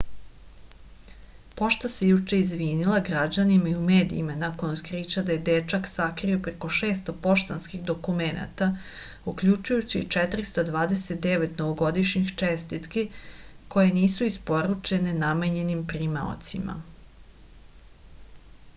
pošta se juče izvinila građanima i u medijima nakon otkrića da je dečak sakrio preko 600 poštanskih dokumenata uključujući i 429 novogodišnjih čestitiki koje nisu isporučene namenjenim primaocima